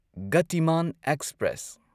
Gatiman express